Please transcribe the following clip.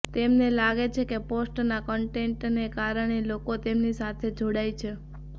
તેમને લાગે છે કે પોસ્ટના કન્ટેન્ટને કારણે લોકો તેમની સાથે જોડાય છે